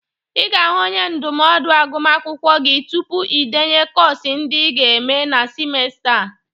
Ị ga-ahụ onye ndụmọdụ agụmakwụkwọ gi tupu ị denye kọs ndị ị ga-eme na simesta a..